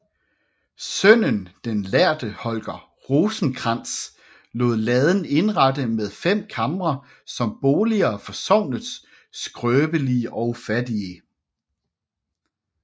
Sønnen den lærde Holger Rosenkrantz lod laden indrette med fem kamre som boliger for sognets skrøbelige og fattige